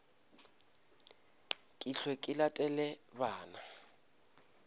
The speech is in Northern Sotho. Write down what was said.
ke hwe ke latele bana